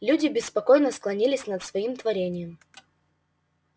люди беспокойно склонились над своим творением